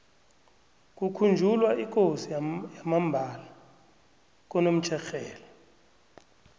kukhunjulwa ikosi yamambala konomtjherhelo